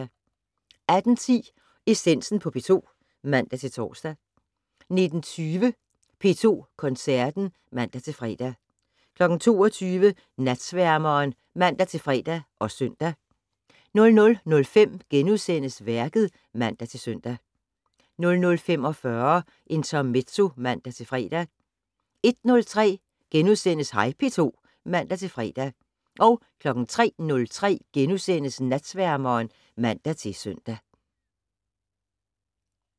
18:10: Essensen på P2 (man-tor) 19:20: P2 Koncerten (man-fre) 22:00: Natsværmeren (man-fre og søn) 00:05: Værket *(man-søn) 00:45: Intermezzo (man-fre) 01:03: Hej P2 *(man-fre) 03:03: Natsværmeren *(man-søn)